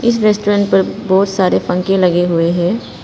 इस रेस्टोरेंट पर बहुत सारे पंखे लगे हुए हैं।